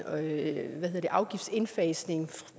at